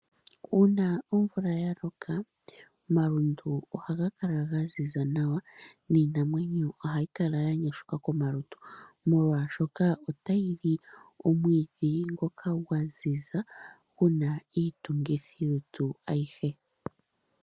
Uuna omvula ya loka omalundu ohaga kala ga ziza nawa miinamwenyo ohayi kala ya nyashuka komalutu molwaashoka otayi li omwiidhi ngoka gwa ziza gu na iitungithilutu ayihe.